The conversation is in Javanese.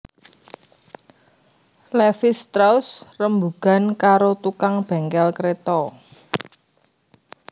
Levis strauss rembugan karo tukang bengkel kreta